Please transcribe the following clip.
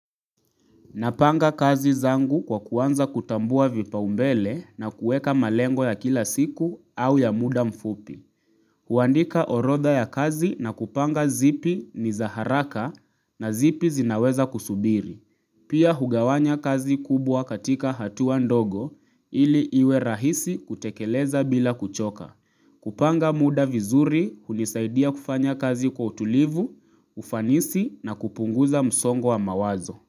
Napanga kazi zangu kwa kuanza kutambua vipaumbele na kueka malengo ya kila siku au ya muda mfupi. Huandika orodha ya kazi na kupanga zipi ni za haraka na zipi zinaweza kusubiri. Pia hugawanya kazi kubwa katika hatua ndogo ili iwe rahisi kutekeleza bila kuchoka. Kupanga muda vizuri hunisaidia kufanya kazi kwa utulivu, ufanisi na kupunguza msongo wa mawazo.